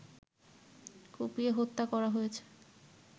কুপিয়ে হত্যা করা হয়েছে